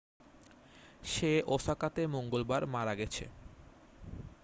সে ওসাকাতে মঙ্গলবার মারা গেছে